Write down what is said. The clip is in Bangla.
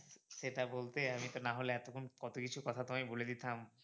সেটা বলতে আমি তো নাহলে এতক্ষন কত কিছু কথা তোমায় বলে দিতাম।